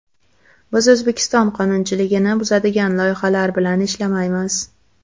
Biz O‘zbekiston qonunchiligini buzadigan loyihalar bilan ishlamaymiz.